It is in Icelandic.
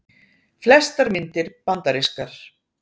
Flestar myndir bandarískar